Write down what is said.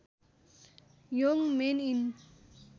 Yong men in